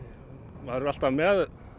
maður er alltaf með